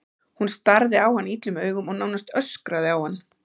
Hún starði á hann illum augum og nánast öskraði á hann.